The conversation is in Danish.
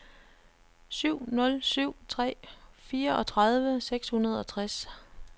syv nul syv tre fireogtredive seks hundrede og tres